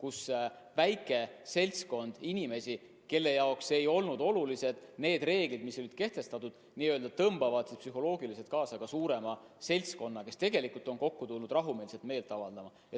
On oht, et väike seltskond inimesi, kelle jaoks ei ole kehtestatud reeglid olulised, tõmbavad psühholoogiliselt kaasa ka suurema seltskonna, kes tegelikult on kokku tulnud rahumeelselt meelt avaldama.